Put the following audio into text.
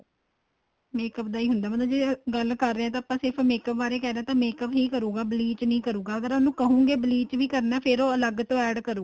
makeup ਦਾ ਹੀ ਹੁੰਦਾ ਮਤਲਬ ਗੱਲ ਕਰ ਰਹਿਆ ਤਾਂ ਆਪਾਂ ਸਿਰਫ਼ makeup ਬਾਰੇ ਕਹਿ ਰਹੇ ਹਾਂ ਤਾਂ makeup ਹੀ ਕਰੂਗਾ bleach ਨਹੀਂ ਕਰੁਗਾਂ ਅਗਰ ਉਹਨੂੰ ਕਹੋਗੇ bleach ਵੀ ਕਰਨਾ ਫੇਰ ਉਹਲ ਅਲੱਗ ਤੋ add ਕਰੂਗਾ